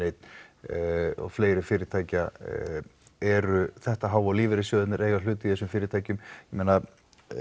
eins og fleiri fyrirtækja eru þetta há og lífeyrissjóðirnir eiga hlut í þessum fyrirtækjum ég meina